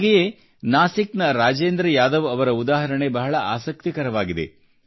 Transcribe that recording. ಹಾಗೆಯೇ ನಾಸಿಕ್ ನ ರಾಜೇಂದ್ರ ಯಾದವ್ ಅವರ ಉದಾಹರಣೆ ಬಹಳ ಆಸಕ್ತಿಕರವಾಗಿದೆ